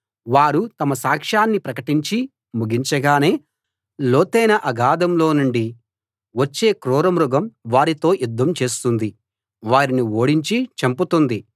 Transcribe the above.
వారు తమ సాక్షాన్ని ప్రకటించి ముగించగానే లోతైన అగాధంలో నుండి వచ్చే కౄర మృగం వారితో యుద్ధం చేస్తుంది వారిని ఓడించి చంపుతుంది